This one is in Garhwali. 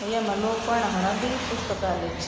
यैमा लोग पड़ना खण अंदी पुस्तकालय च ।